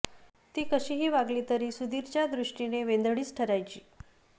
ती कशी ही वागली तरी सुधीर च्या दृष्टीने वेंधळीच ठरायची